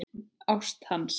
Ást hans.